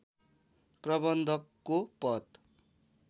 प्रबन्धकको पद